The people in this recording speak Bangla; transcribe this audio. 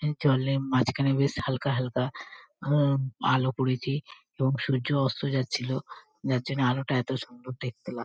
জলের মাঝখানে বেশ হালকা হালকা আ আলো পড়েছে এবং সূর্য অস্ত যাচ্ছিলো যার জন্য আলোটা এতো সুন্দর দেখতে--